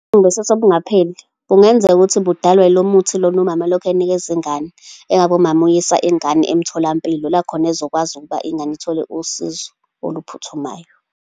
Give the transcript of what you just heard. Ubuhlungu basisu obungapheli, kungenzeka ukuthi budalwa ilo muthi lona umama olokhu ewunikeza ingane. Engabe umama uyisa ingane emtholampilo, la khona ezokwazi ukuba ingane ithole usizo oluphuthumayo.